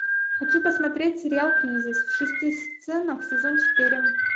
хочу посмотреть сериал кризис в шести сценах сезон четыре